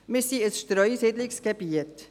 Wir sind ein Streusiedlungsgebiet.